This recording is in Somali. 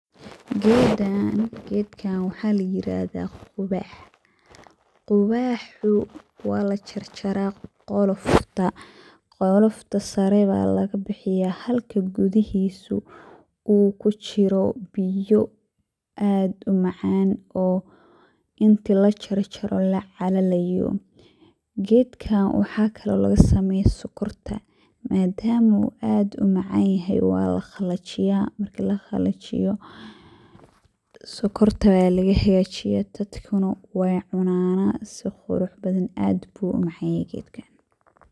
Gedkan waxa layirahda quwax. Quwaxu walajarjara qolofta sare aya lagabixiya halka gudihisu uu kujiro biyo aad umacan oo inti lajarjaro lacalayo, gedka waxa kalo lagasubiya sokorta madam uu aad umacanyahay walaqalijiya marki laqalijiyo sokorta aya lagahagajiya dadkuna wey cunan sii qurux badan, aad ayu umacanyahay gedkan.